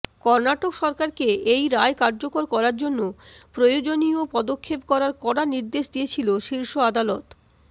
কর্ণাটক সরকারকে এই রায় কার্যকর করার জন্য প্রয়োজনীয় পদক্ষেপ করার কড়া নির্দেশ দিয়েছিল শীর্ষ আদালত